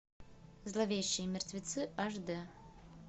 зловещие мертвецы аш дэ